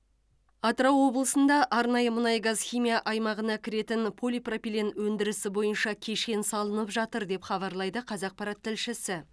атырау облысында арнайы мұнай газ химия аймағына кіретін полипропилен өндірісі бойынша кешен салынып жатыр деп хабарлайды қазақпарат тілшісі